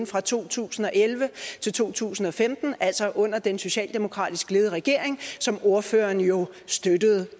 fra to tusind og elleve til to tusind og femten altså under den socialdemokratisk ledede regering som ordføreren jo støttede